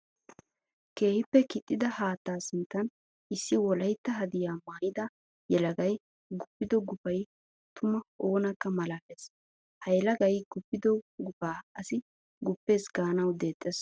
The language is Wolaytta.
Keehippe kixxida haatta sinttan issi wolaytta haddiya maayidda yelagay guppido guppay tuma oonakka malaales. Ha yelagay guppido gupa asi guppiis gaanawu deexes.